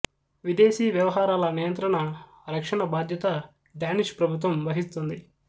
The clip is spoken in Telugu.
విదేశీ వ్యవహారాల నియంత్రణ రక్షణ బాధ్యత డానిష్ ప్రభుత్వం వహిస్తుంది